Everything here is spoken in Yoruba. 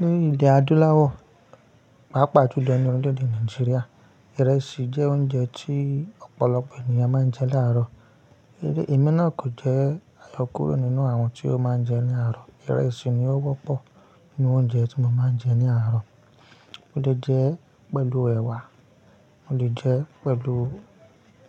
Ní ilẹ̀ adúláwọ̀, pàápàá jùlo ni orílẹ̀-èdè Nàìjíríà, ìrẹsì jẹ́ oúnjẹ tí ọ̀pọ̀lọpọ̀ ènìyàn máa ń jẹ láàárọ̀. Ẹ̀rẹ̀ emi náà kò jẹ́ àyòkúrò nínú àwọn tí ó máa ń jẹun ní àárọ̀. Ìrẹsì ni ó wọ́pọ̀ nínú oúnjẹ tí mo máa ń jẹ ní àárọ̀. Mo lè jẹ ẹ́ pẹ̀lú ẹ̀wà, mo lè jẹ ẹ́ pẹ̀lú